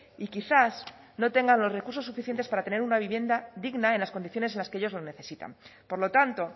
y quizás no tengan los recursos suficientes para tener una vivienda digna en las condiciones en las que ellos lo necesitan por lo tanto